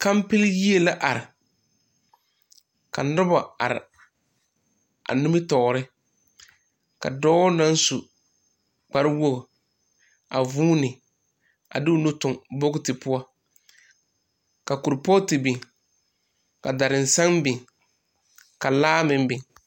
Kampil yie la are ka noba are a nimitɔɔre ka dɔɔ naŋ su kparwogi a vūūne a de o nu toŋ bogiti poɔ ka kuripogti biŋ ka darisaŋ biŋ ka laa meŋ biŋ.